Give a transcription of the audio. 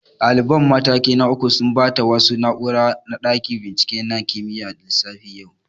Ɗaliban mataki na uku sun ɓata wasu na'ura a ɗakin bincike na kimiyyar lissafi yau